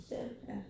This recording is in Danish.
Ja